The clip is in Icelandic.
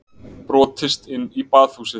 Brotist inn í Baðhúsið